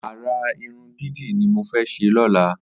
Àrà irùn didi ni mó fè ṣé lọ̀lá